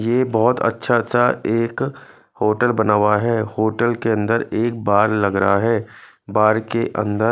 ये बहोत अच्छा सा एक होटल बना हुआ है होटल के अंदर एक बार लग रहा है बार के अंदर--